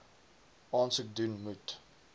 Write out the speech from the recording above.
aansoek doen moet